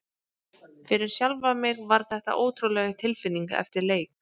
Fyrir sjálfan mig var þetta ótrúleg tilfinning eftir leik.